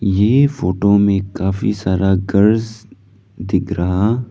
यह फोटो में काफी सारा घर दिख रहा--